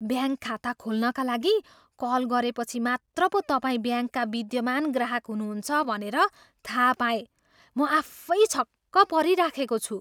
Bank खाता खोल्नका लागि कल गरेपछि मात्र पो तपाईँ ब्याङ्कका विद्यमान ग्राहक हुनुहुन्छ भनेर थाहा पाएँ। म आफै छक्क परिराखेको छु।